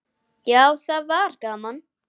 Já, það var gaman.